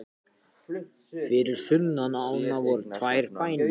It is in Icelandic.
Fyrir sunnan ána voru tveir bæir.